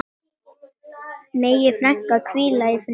Megi frænka hvíla í friði.